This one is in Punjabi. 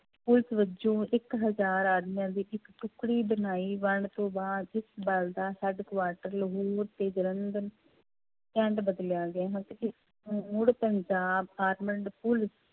ਪੁਲਿਸ ਵਜੋਂ ਇੱਕ ਹਜ਼ਾਰ ਆਦਮੀਆਂ ਦੀ ਇੱਕ ਟੁੱਕੜੀ ਬਣਾਈ ਵੰਡ ਤੋਂ ਬਾਅਦ ਇਸ ਬਲ ਦਾ headquarter ਲਾਹੌਰ ਤੇ ਜਲੰਧਰ ਮੁੜ ਪੰਜਾਬ armed ਪੁਲਿਸ